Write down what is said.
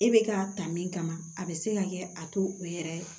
E bɛ ka ta min kama a bɛ se ka kɛ a to u yɛrɛ ye